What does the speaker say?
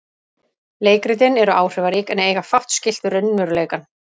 Leikritin eru áhrifarík en eiga fátt skylt við raunveruleikann.